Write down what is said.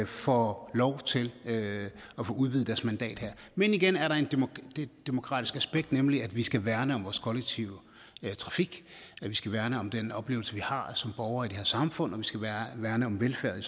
får lov til at få udvidet deres mandat her men igen er der et demokratisk aspekt nemlig at vi skal værne om vores kollektive trafik vi skal værne om den oplevelse vi har som borgere i det her samfund og vi skal værne om velfærden